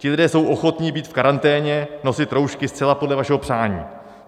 Ti lidé jsou ochotni být v karanténě, nosit roušky zcela podle vašeho přání.